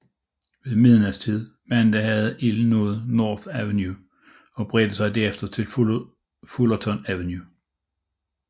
Ved middagstid mandag havde ilden nået North Avenue og bredte sig derfra til Fullerton Avenue